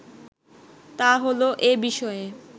তা হলো এ বিষয়ে